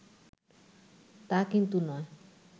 তা কিন্তু নয়